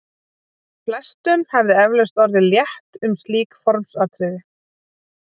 Flestum hefði eflaust orðið létt um slík formsatriði.